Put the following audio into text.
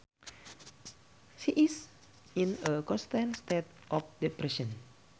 She is in a constant state of depression